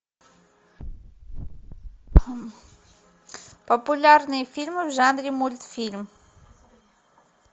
популярные фильмы в жанре мультфильм